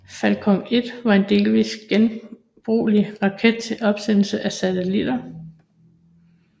Falcon 1 var en delvist genbrugelig raket til opsendelse af satellitter